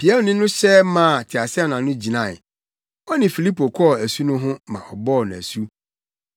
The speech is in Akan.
Piamni no hyɛ maa teaseɛnam no gyinae. Ɔne Filipo kɔɔ asu no ho ma ɔbɔɔ no asu.